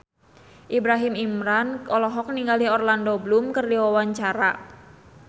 Ibrahim Imran olohok ningali Orlando Bloom keur diwawancara